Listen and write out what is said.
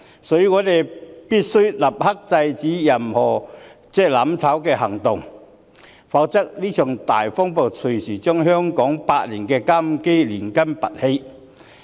所以，我們必須立刻制止所有"攬炒"行動，否則，這場大風暴隨時會將香港的百年根基拔起。